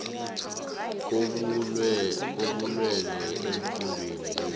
kobulwele eemfundeni zethu